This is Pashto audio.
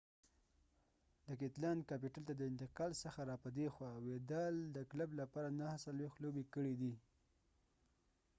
د کیتلان کاپیټل ته د انتقال څخه را په ديخوا ويدال د کلب لپاره 49 لوبې کړي دي